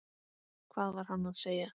Hvað var hann að segja?